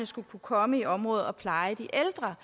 skal kunne komme i området og pleje de ældre